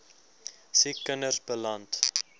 siek kinders beland